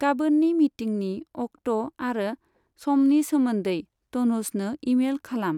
गाबोननि मिटिंनि अक्ट' आरो समनि सोमोन्दै टनुजनो इमेइल खालाम।